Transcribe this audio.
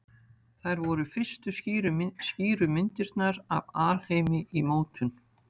Þær voru fyrstu skýru myndirnar af alheimi í mótun.